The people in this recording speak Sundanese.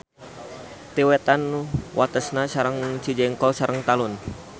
Ti wetan watesna sareng Cijengkol sareng Talun.